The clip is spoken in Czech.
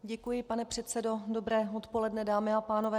Děkuji, pane předsedo, dobré odpoledne, dámy a pánové.